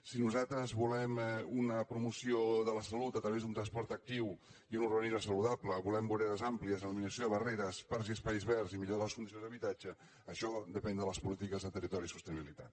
si nosaltres volem una promoció de la salut a través d’un transport actiu i un urbanisme saludable volem voreres àmplies eliminació de barreres parcs i espais verds i millora de les condicions d’habitatge això depèn de les polítiques de territori i sostenibi·litat